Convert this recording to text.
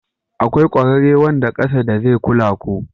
Akwai ƙwararre wanda ƙasa da zai kula ku.